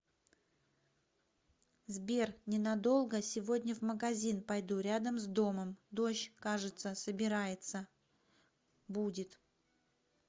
сбер ненадолго сегодня в магазин пойду рядом с домом дождь кажется собирается будет